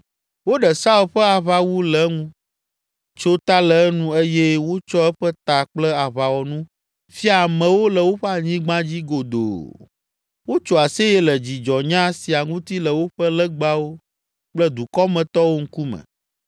Woɖe Saul ƒe aʋawu le eŋu, tso ta le enu eye wotsɔ eƒe ta kple aʋawɔnu fia amewo le woƒe anyigba dzi godoo. Wotso aseye le dzidzɔnya sia ŋuti le woƒe legbawo kple dukɔmetɔwo ŋkume.